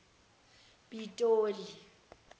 pitoli